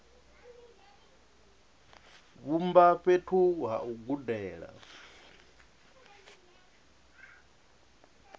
vhumba fhethu ha u gudela